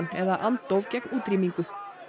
eða andóf gegn útrýmingu